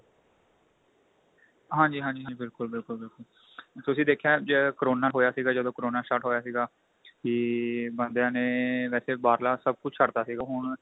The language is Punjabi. ਹਾਂਜੀ ਹਾਂਜੀ ਹਾਂਜੀ ਬਿਲਕੁਲ ਬਿਲਕੁਲ ਬਿਲਕੁਲ ਤੁਸੀਂ ਦੇਖਿਆ ਕਕਰੋਨਾ ਹੋਇਆ ਸੀਗਾ ਜਦੋ ਕਰੋਨਾ ਹੋਇਆ ਸੀਗਾ ਇਹ ਬੰਦਿਆ ਨੇ ਵੈਸੇ ਬਾਹਰਲਾ ਸਭ ਕੁੱਝ ਛੱਡ ਤਾਂ ਸੀਗਾ ਹੁਣ